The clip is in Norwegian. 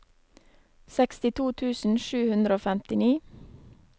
sekstito tusen sju hundre og femtini